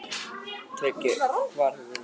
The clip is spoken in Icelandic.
TRYGGVI: Hvar hefurðu verið?